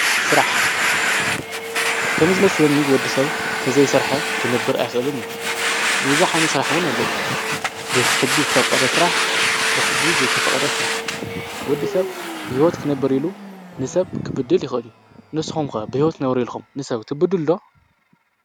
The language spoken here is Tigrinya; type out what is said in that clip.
ስራሕ ከምዝመስለኒ ወዲ ሰብ ተዘይሰረሐ ክነብር ኣይክእልን እዩ። ብዙሕ ዓይነት ስራሕ እውን ኣለው። ብሕጊ ዝተፈቆዶ ስራሕ ብሕጊ ዘይተፈቆዶ ስራሕ ወዲ ሰብ ብሂወት ክነብር ኢሉ ንሰብ ክብድል ይክእል እዩ። ንስኩም ከ ብሂወት ክትነብሩ ኢልኩም ንሰብ ትብድሉ ዶ?